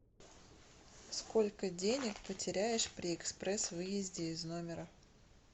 сколько денег потеряешь при экспресс выезде из номера